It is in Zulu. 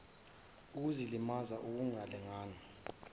ukuzilimaza ukuh langana